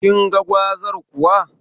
Kinga gwazar kuwa?